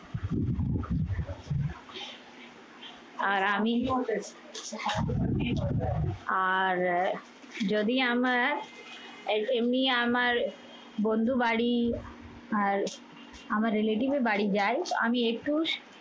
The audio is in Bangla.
আর আমি আর যদি আমার এ এমনি আমার বন্ধু বাড়ি আর আমার relative এর বাড়ি যাই আমি একটুস